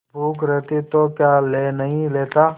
भूख रहती तो क्या ले नहीं लेता